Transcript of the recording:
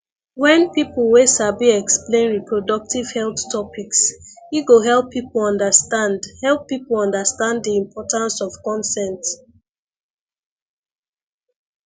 wen people wey sabi explain reproductive health topics e go help people understand help people understand di importance of consent